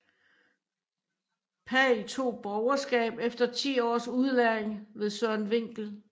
Pagh tog borgerskab efter 10 års udlæring ved Søren Winkel